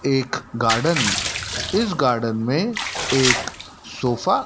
एक गार्डन इस गार्डन में एक सोफा --